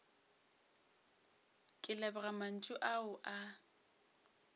ke leboga mantšu ao a